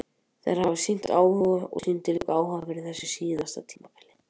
Þeir hafa sýnt áhuga og sýndu líka áhuga fyrir síðasta tímabil.